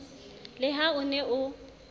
le ha o ne o